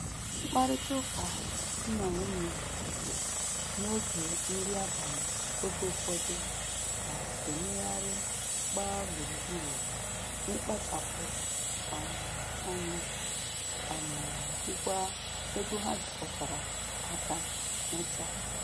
Mkparịtaụka di na nwunye n'oge nri abalị oge ụfọdụ na-emegharị gbaa gburu gburu n'ịkpachapụ um anya um jikwaa ego ha jikọtara aka nweta.